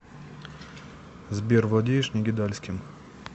сбер владеешь негидальским